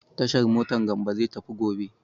Tashar mota Gambo zai tafi gobe.